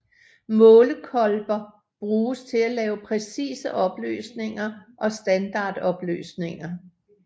Målekolber bruges til at lave præcise opløsninger og standardopløsninger